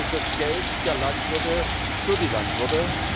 Es ist das Geld der Landwirte für die Landwirte.